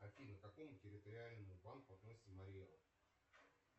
афина к какому территориальному банку относится марий эл